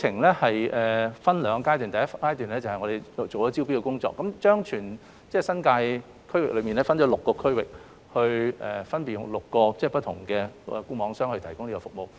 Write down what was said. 計劃分兩個階段，第一階段是招標工作，將全新界分為6個區域，分為6個項目邀請固網商參與招標。